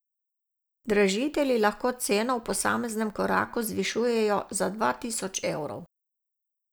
Dražitelji lahko ceno v posameznem koraku zvišujejo za dva tisoč evrov.